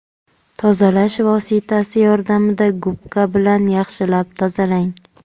Tozalash vositasi yordamida gubka bilan yaxshilab tozalang.